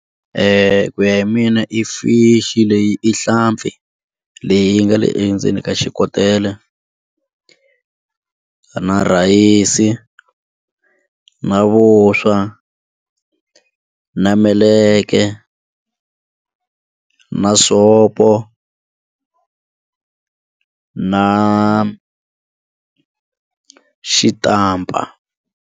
Ku ya hi mina i fish leyi i nhlampfi leyi nga le endzeni ka xikotela na rhayisi na vuswa na meleke na soap na xitampa.